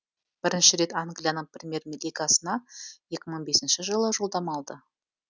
бірінші рет англияның премьер лигасына екі мың бесінші жылы жолдама алды